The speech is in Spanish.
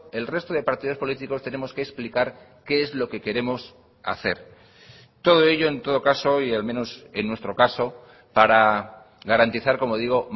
el resto de partidos políticos tenemos que explicar qué es lo que queremos hacer todo ello en todo caso y al menos en nuestro caso para garantizar como digo